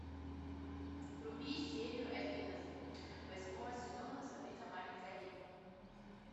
вруби серию одиннадцать восьмого сезона сабрина маленькая ведьма